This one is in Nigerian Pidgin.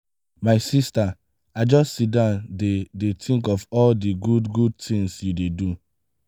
my sista i just siddon dey dey tink of all di good-good tins you dey do.